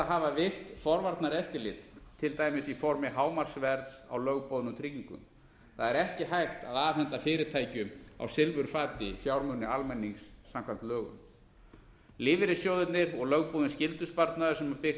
hafa virkt forvarnaeftirlit til dæmis í formi hámarksverðs á lögboðnum tryggingum það er ekki hægt að afhenda fyrirtækjum á silfurfati fjármuni almennings samkvæmt lögum lífeyrissjóðirnir og lögboðinn skyldusparnaður sem byggt